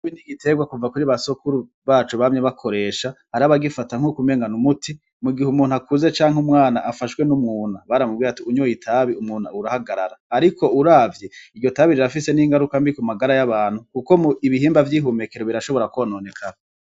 Igitegwa kuva kuri ba sokuru bacu bamye bakoresha, hari abagifata nkuko umenga n'umuti mu gihe umuntu akuze canke umwana afashwe n'umwuna baramubwira ngo unyoye itabi umwuna urahagarara, ariko uravye iryo tabi rirafise n'ingaruka mbi ku magara y'abantu kuko ibihimba vy'ihumekero birashobora kwononekara.